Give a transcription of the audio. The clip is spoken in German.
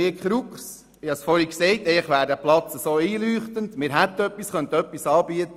Ich habe es vorhin gesagt, eigentlich wäre der Platz so einleuchtend, weil wir etwas anbieten könnten.